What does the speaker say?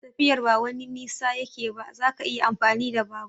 Tafiyar ba wani nisa yake ba, zaka iya amfani da babur.